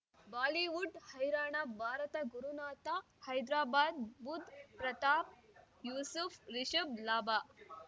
Bollywood ಹೈರಾಣ ಭಾರತ ಗುರುನಾಥ ಹೈದರಾಬಾದ್ ಬುಧ್ ಪ್ರತಾಪ್ ಯೂಸುಫ್ ರಿಷಬ್ ಲಾಭ